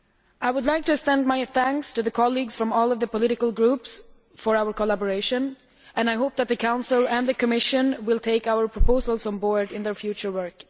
I would like just to extend my thanks to colleagues from all of the political groups for their collaboration and I hope that the Council and the Commission will take our proposals on board in their future work.